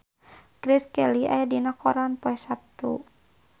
Grace Kelly aya dina koran poe Saptu